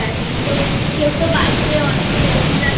Atleastকেউ তো বাড়িতে অনেক সঙ্গে